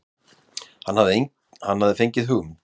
Hann hafði fengið hugmynd.